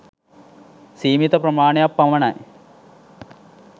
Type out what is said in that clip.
සීමිත ප්‍රමාණයක් පමණයි.